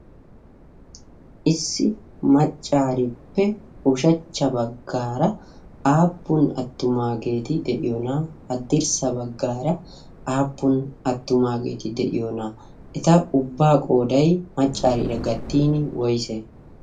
issi maccaarippe ushachcha baggaara aappun attumaageeti de'iyoona'a haddirssa baggaara aappun attumaageeti de'iyoona'aa eta ubbaa qoodai maccaariira gattin woysee?